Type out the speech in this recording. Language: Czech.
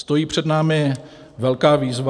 Stojí před námi velká výzva.